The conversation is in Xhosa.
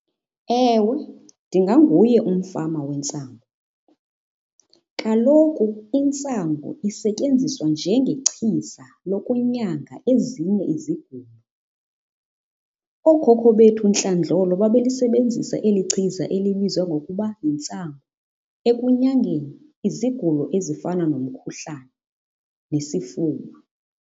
Ewe ndinganguye umfama wentsangu. Kaloku intsangu isetyenziswa njengechiza lokunyanga ezinye izigulo. Ookhokho bethu ntlandlolo babelisebenzisa elichiza elibizwa ngokuba yintsangu ekunyangeni izigulo ezifana nomkhuhlane nesifuba.